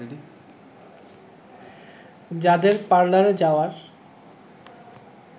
যাদের পার্লারে যাওয়ার